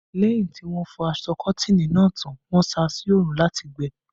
Lẹ́yìn tí wọ́n fọ aṣọ Kọ́tìnì náà tán, wọ́n sá a sí orun láti gbẹ